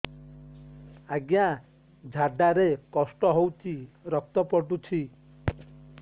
ଅଜ୍ଞା ଝାଡା ରେ କଷ୍ଟ ହଉଚି ରକ୍ତ ପଡୁଛି